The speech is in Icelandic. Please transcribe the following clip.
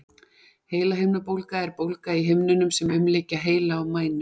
Heilahimnubólga er bólga í himnunum sem umlykja heila og mænu.